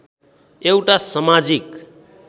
एउटा समाजिक